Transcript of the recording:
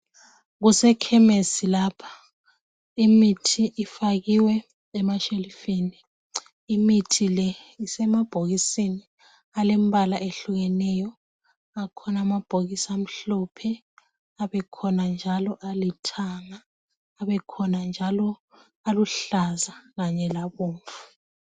Kusechemis lapha imithi ifakiwe emakhobothini. Imithi le isemabhokisini alembala ehlukeneyo akhona amabhokisi amhlophe abe khona njalo alithanga abe khona njalo aluhlaza kanye labomvu